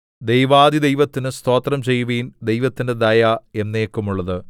ദൈവാധിദൈവത്തിന് സ്തോത്രം ചെയ്യുവിൻ ദൈവത്തിന്റെ ദയ എന്നേക്കുമുള്ളത്